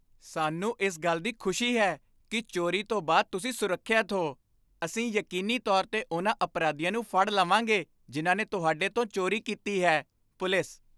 ਸਾਨੂੰ ਇਸ ਗੱਲ ਦੀ ਖੁਸ਼ੀ ਹੈ ਕੀ ਚੋਰੀ ਤੋਂ ਬਾਅਦ ਤੁਸੀਂ ਸੁਰੱਖਿਅਤ ਹੋ ਅਸੀਂ ਯਕੀਨੀ ਤੌਰ 'ਤੇ ਉਨ੍ਹਾਂ ਅਪਰਾਧੀਆਂ ਨੂੰ ਫੜ ਲਵਾਂਗੇ ਜਿਨ੍ਹਾਂ ਨੇ ਤੁਹਾਡੇ ਤੋਂ ਚੋਰੀ ਕੀਤੀ ਹੈ ਪੁਲਿਸ